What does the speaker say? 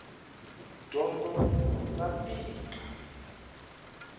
dyondo ra tika